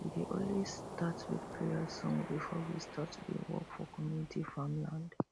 we dey always start with prayer songs before we start to dey work for community farmland